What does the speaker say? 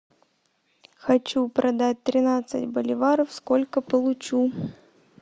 хочу продать тринадцать боливаров сколько получу